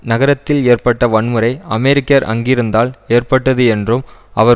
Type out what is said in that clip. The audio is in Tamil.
நகரத்தில் ஏற்பட்ட வன்முறை அமெரிக்கர் அங்கிருந்தால் ஏற்பட்டது என்றும் அவர்